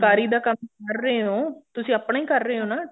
ਫੁਲਕਾਰੀ ਦਾ ਕੰਮ ਕਰ ਰਹੇ ਹੋ ਤੁਸੀਂ ਆਪਣੇ ਕਰ ਰਹੇ ਹੋ ਨਾ